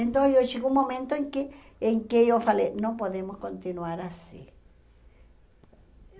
Então eu chegou um momento em que em que eu falei, não podemos continuar assim.